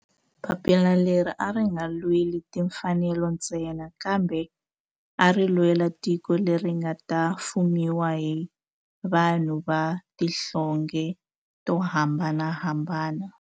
Papila leri a ri nga lweli timfanelo ntsena kambe ari lwela tiko leri nga ta fumiwa hi vanhu va tihlonge to hambanahambana.